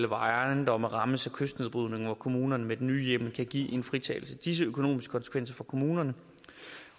hvor ejendomme rammes af kystnedbrydning og hvor kommunerne med den nye hjemmel kan give en fritagelse de økonomiske konsekvenser for kommunerne